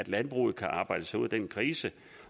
landbruget kan arbejde sig ud af krisen